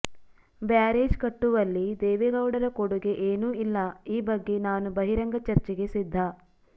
barrage ಕಟ್ಟುವಲ್ಲಿ ದೇವೇಗೌಡರ ಕೊಡುಗೆ ಏನು ಇಲ್ಲ ಈ ಬಗ್ಗೆ ನಾನು ಬಹಿರಂಗ ಚರ್ಚೆಗೆ ಸಿದ್ಧ